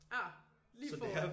Ah lige foran